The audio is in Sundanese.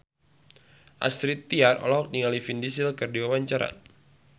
Astrid Tiar olohok ningali Vin Diesel keur diwawancara